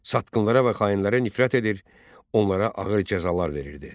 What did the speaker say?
Satqınlara və xainlərə nifrət edir, onlara ağır cəzalar verirdi.